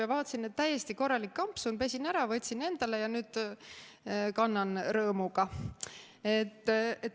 Ja vaatasin, et täiesti korralik kampsun, pesin ära, võtsin endale ja nüüd kannan rõõmuga.